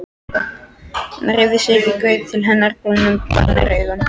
Hann hreyfði sig ekki en gaut til hennar brúnum bænaraugum.